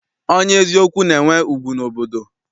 Onye eziokwu na-enwe ugwu n'obodo.